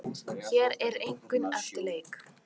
Hér eru einkunnir eftir leik.